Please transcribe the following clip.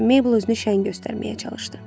Mabel özünü şən göstərməyə çalışdı.